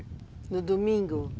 No domingo?